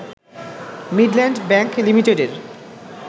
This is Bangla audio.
মিডল্যান্ড ব্যাংক লিমিটেডের